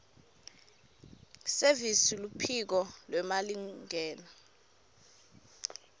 service luphiko lwemalingena